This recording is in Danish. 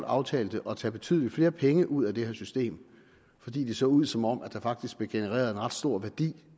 aftalte at tage betydelig flere penge ud af det her system fordi det så ud som om der faktisk blev genereret en ret stor værdi